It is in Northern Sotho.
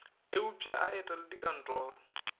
a upše a etele dikantoro